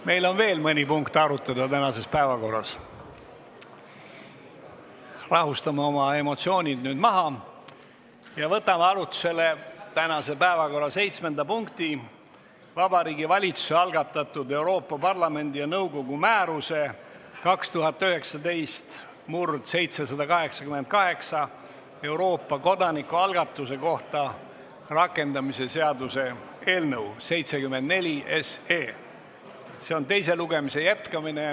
Meil on veel mõni punkt tänases päevakorras, rahustame oma emotsioonid maha ja võtame arutlusele tänase päevakorra seitsmenda punkti, Vabariigi Valitsuse algatatud Euroopa Parlamendi ja nõukogu määruse 2019/788 "Euroopa kodanikualgatuse kohta" rakendamise seaduse eelnõu 74 teise lugemise jätkamise.